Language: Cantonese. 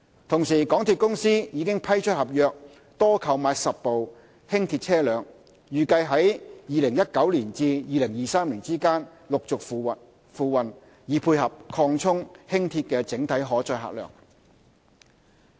同時，港鐵公司已批出合約，多購買10部輕鐵車輛，預計由2019年至2023年之間陸續付運，以配合擴充輕鐵的整體可載客量。